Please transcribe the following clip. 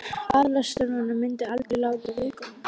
Aðalstöðvarnar myndu aldrei láta það viðgangast.